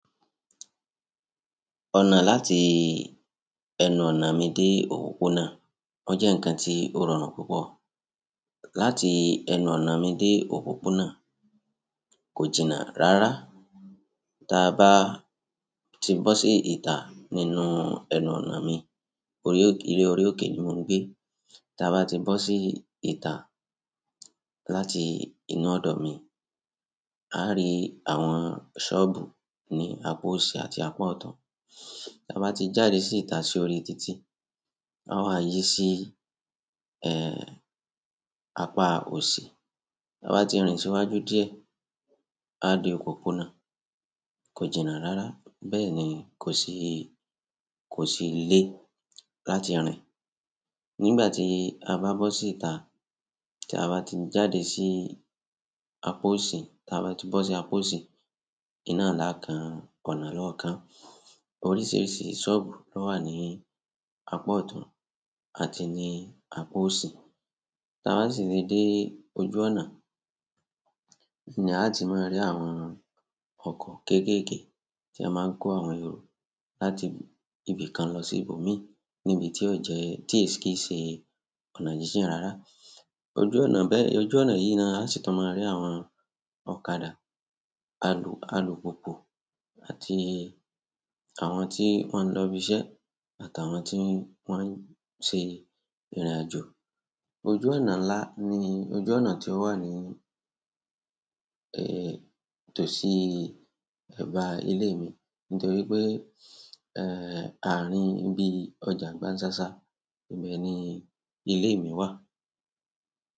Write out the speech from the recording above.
Ọ̀nà láti ẹnuọ̀nà mi dé òpópónà, ó jẹ́ ǹkan tí ó rọrùn púpọ̀. Láti ẹnu ọ̀nà mi de òpópónà ko jina rara tí a bá ti bọ́ sí ìta nínú ẹnuọ̀nà mi, orí ilé orí òkè ni mò ń gbé. Tí a bá ti bọ́ sí ìta láti inú ọ̀dọ̀ mi, a á rí àwọn sọ́ọ̀bù ní apá òsì àti apá ọ̀tun. Tí a bá ti jáde sí ìta sí orí títì, a wà yí sí, ẹ́, apá òsì. Tí a bá ti rìn síwájú díẹ̀, a dé òpópónà kò jìnnà rárá. Bẹ́ẹ̀ni kosi kosi lẹ láti rin. Nígbà tí a bá bọ́ sí ìta, tí a bá ti jáde sí apá òsì, tí a bá ti bọ́ sí apá òsì, iná lá kan, ọ̀nà lọ́ọ̀kan. Oríṣiríṣi sobu lo wa ni apa ọ̀tún àti ni apa osi. Tí a bá sì le dé ojú ọ̀nà ni a ti máa rí àwọn ọkọ̀ kéékèèké tí a máa ń kó àwọn èrò láti ibì kan lọ sí ibòmíràn níbi tí ó jẹ́, tí èsì kí ṣe ọ̀nà jíjìn rárá. Ojú ọ̀nà bẹ́ẹ̀, ojú ọ̀nà yìí ni a sì tọ máa rí àwọn ọ̀kadà, alùpùpù àti àwọn tí wọ́n ń lọ ibi iṣẹ́ àtàwọn tí wọ́n ń ṣe ìrìnàjò. Ojú ọ̀nà ńlá ni ojú ọ̀nà tí ó wà ní, ẹ́, tòsí ẹ̀bá ilé mi nítorí pé, ẹ́, àárín bí ọjà Gbánṣàṣà, ibẹ̀ ni ilé mi wà.